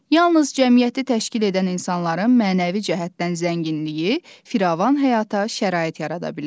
Yalnız cəmiyyəti təşkil edən insanların mənəvi cəhətdən zənginliyi firavan həyata şərait yarada bilər.